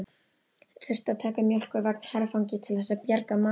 Þurftu að taka mjólkurvagn herfangi til þess að bjarga málunum!